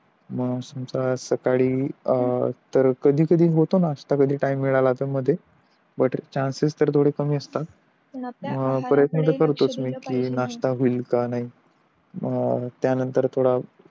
मग समझ सकाळी कधी काही होतो नाश्ता टाइम मिळाला तर मध्ये पण बट चॅनसेस थोडे कमीच असता प्रयत्न तर करतोच मी नाश्ता होईल कि नाही